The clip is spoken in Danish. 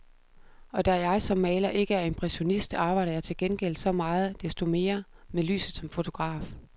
Og da jeg som maler ikke er impressionist, arbejder jeg til gengæld så meget desto mere med lyset som fotograf.